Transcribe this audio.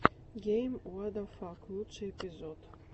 гейм уадафак лучший эпизод